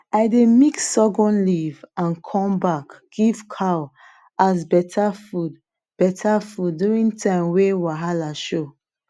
i dey mix sorghum leaf and corn back give cow as better food better food during time way wahala show